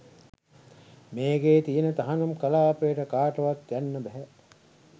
මේකේ තියෙන තහනම් කලාපයට කාටවත් යන්න බැහැ.